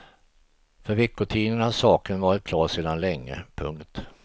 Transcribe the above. För veckotidningarna har saken varit klar sedan länge. punkt